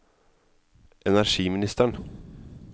energiministeren